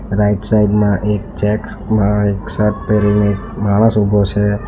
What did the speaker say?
Right side માં એક checks માં શર્ટ પહેરીને એક માણસ ઊભો છે.